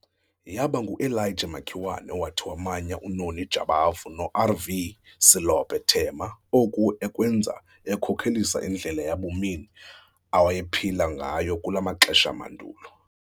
Yaba nguElijah Makiwane owathi wamanya uNoni Jabavu noR.V. Selope Thema oku ekwenza ekhokelisa indlela yabumini awayephila ngayo kulo maxesha amandulo.